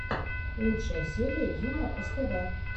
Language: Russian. лучшая серия юмор ств